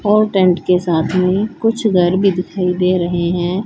और टेंट के साथ में कुछ घर भी दिखाई दे रहे हैं।